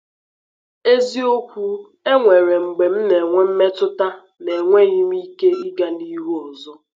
Eziokwu, e nwere mgbe m na-enwe mmetụta na enweghị m ike ịga n’ihu ọzọ.